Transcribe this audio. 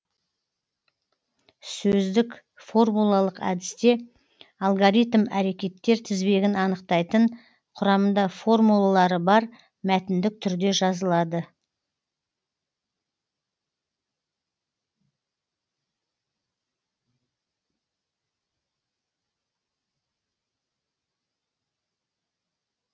сөздік формулалық әдісте алгоритм әрекеттер тізбегін анықтайтын құрамында формулалары бар мәтіндік түрде жазылады